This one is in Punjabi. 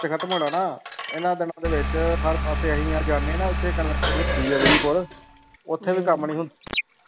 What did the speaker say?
ਖ਼ਤਮ ਹੋਣਾ ਨਾ ਇਹਨਾਂ ਦਿਨਾਂ ਦੇ ਵਿੱਚ ਹਰ ਪਾਸੇ ਅਸੀਂ ਜਦ ਜਾਂਦੇ ਨਾ ਉੱਥੇ ਸ਼ੁਰੂ ਹੁੰਦੀ ਆ ਉੱਥੇ ਵੀ ਕੰਮ ਨੀ ਹੁੰ